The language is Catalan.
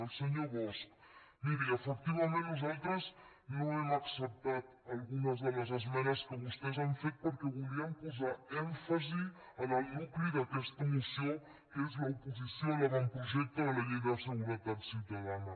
al senyor bosch miri efectivament nosaltres no hem acceptat algunes de les esmenes que vostès han fet perquè volíem posar èmfasi en el nucli d’aquesta moció que és l’oposició a l’avantprojecte de la llei de seguretat ciutadana